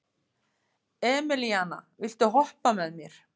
Emelíana, viltu hoppa með mér?